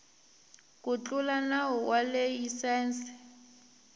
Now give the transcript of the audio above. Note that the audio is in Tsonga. ku tlula nawu wa layisense